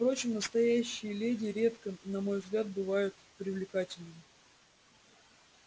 впрочем настоящие леди редко на мой взгляд бывают привлекательными